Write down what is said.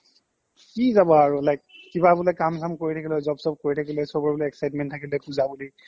কি যাবা আৰু like কিবা বোলে কাম চাম কৰি থকিলো হৈ job চব কৰি থকিলো হৈ চবৰে বোলে excitement থকিলো হৈ puja বুলি